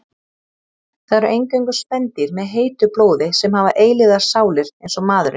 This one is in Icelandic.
Það eru eingöngu spendýr með heitu blóði sem hafa eilífar sálir eins og maðurinn.